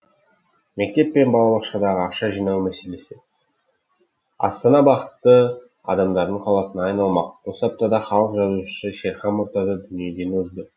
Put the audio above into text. мектеп пен балабақшадағы ақша жинау мәселесі астана бақытты адамдардың қаласына айналмақ осы аптада халық жазушысы шерхан мұртаза дүниеден озды